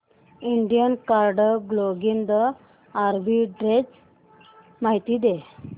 Indian card clothing arbitrage माहिती दे